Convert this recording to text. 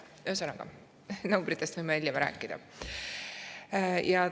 Ühesõnaga, numbritest võime rääkida hiljem.